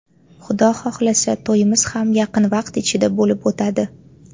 Xudo xohlasa, to‘yimiz ham yaqin vaqt ichida bo‘lib o‘tadi.